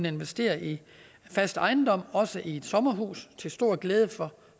investere i fast ejendom også i et sommerhus til stor glæde for